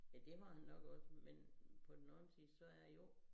Ja det må han nok også men på den anden side så er jo